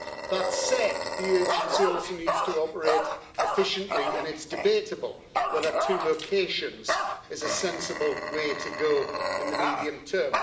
That said, the agency also needs to operate efficiently and it's debatable whether two locations is a sensible way to go in the medium term.